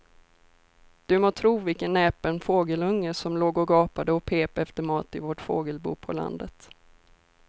Du må tro vilken näpen fågelunge som låg och gapade och pep efter mat i vårt fågelbo på landet.